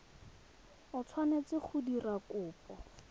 o tshwanetse go dira kopo